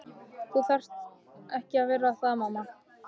Þú þarft ekki að vera það mamma.